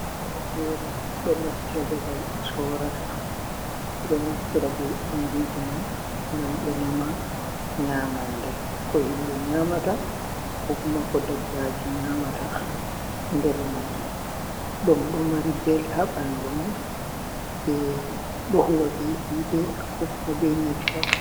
Injiji fere fere do mofti ha babal be sorata ɓeɗo naftra be injiji mai ngam be nama nyamande ko himɓe nyamata kokuma ko dabbaji nyamata ha nder mai ɗum ɗo mari bel ha ɓandu mai ɓeɗo huwa be hite ko kuma be nyebbam.